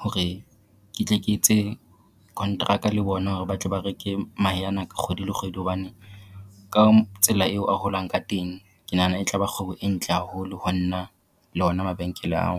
Hore ke tle ke etse kontraka le bona hore ba tle ba reke mahe ana ka kgwedi le kgwedi. Hobane ka tsela eo a holang ka teng, ke nahana e tla ba kgwebo e ntle haholo ho nna le ona mabenkele ao.